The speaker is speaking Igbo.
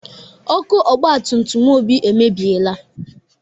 Ọkụ ọgbatutum Obi emebieela.